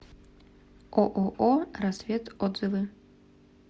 ооо рассвет отзывы